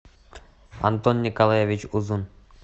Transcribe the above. антон николаевич узун